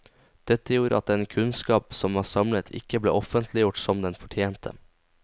Dette gjorde at den kunnskap som var samlet ikke ble offentliggjort som den fortjente.